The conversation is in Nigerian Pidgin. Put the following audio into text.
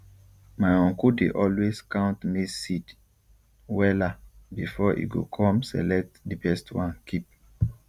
my uncle dey always count maize seed wella before e go com select di best one keep